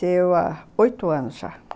Faleceu há oitos anos já.